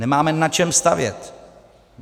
Nemáme na čem stavět.